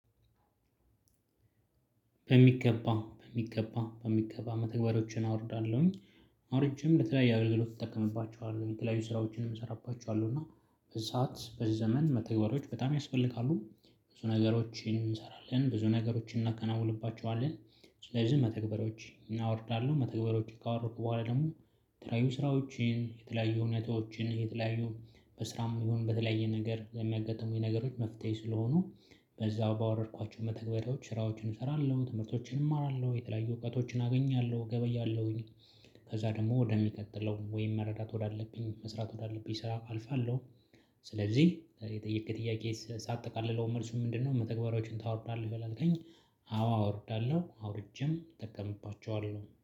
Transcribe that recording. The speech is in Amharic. በሚገባ በሚገባ በሚገባ መተግበሪያዎችን አወርዳለሁኝ። አውርጄም ለተለያዩ አገልግሎት እጠቀምባቸዋለሁ የተለያዩ ስራዎችንም እሰራባቸዋለሁ እና። በዚህ ሰዓት በዚህ ዘመን መተግበሪያዎች በጣም ያስፈልጋሉ ብዙ ነገሮችን እንሰራለን ብዙ ነገሮችን እናከናዉንባቸዋለን። ስለዚህ መተግበሪያዎች እናወርዳለን መተግበሪያዎች ካወረድኩ በኋላ ደግሞ የተለያዩ ስራዎችን የተለያዩ ሁኔታዎችን የተለያዩ በስራም ይሁን በተለያየ ነገር የሚያጋጥሙኝ ነገሮች መፍትሄ ስለሆኑ። በዛው ባወረድኳቸው መተግበሪያዎች ስራዎችን እሰራለሁ ትምህርቶችን እማራለሁ የተለያዩ እውቀቶችን አገኛለሁ እገበያለሁኝ። ከዛ ደግሞ ወደሚቀጥለው ወይም መረዳት ወዳለብኝ መስራት ወዳለብኝ ስራ አልፋለሁ። ስለዚህ የጠየከኝጥያቄ ሳጠቃለለው መልሱን ምንድነው መተግበሪያዎችን ታወርዳለህ ወይ ላልከኝ? አዎ አወርዳለሁ አውርጄም እጠቀምባቸዋለሁ